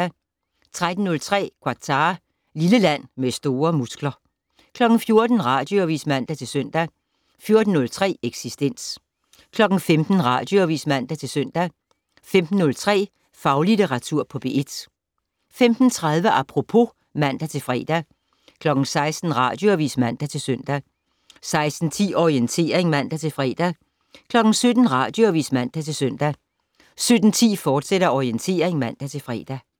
13:03: Qatar - lille land med store muskler 14:00: Radioavis (man-søn) 14:03: Eksistens 15:00: Radioavis (man-søn) 15:03: Faglitteratur på P1 15:30: Apropos (man-fre) 16:00: Radioavis (man-søn) 16:10: Orientering (man-fre) 17:00: Radioavis (man-søn) 17:10: Orientering, fortsat (man-fre)